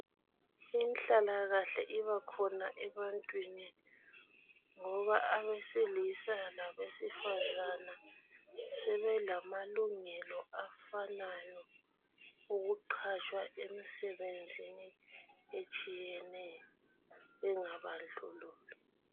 Inhlalakahle ibakhona ebantwini ngoba abesilisa labesifazana sebelamalungelo afanayo .Okuqatshwa emisebenzini etshiyeneyo bengabandlululwa.